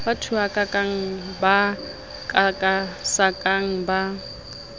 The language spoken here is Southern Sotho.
ba thuhakang ba kakasakang ba